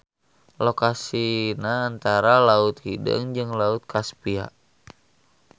Lokasina antara Laut Hideung jeung Laut Kaspia.